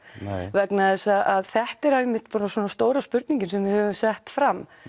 vegna þess að þetta er einmitt svona stóra spurningin sem við höfum sett fram